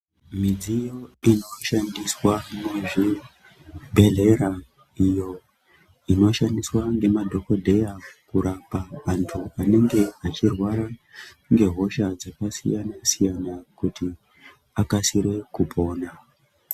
Midziyo irikushandiswa muzvibhedhleya iyo inoshandiswa ngemadhokodheya kurapa antu anenge achirwara ngehosha dzakasiyana siyana kuti akasire kupona.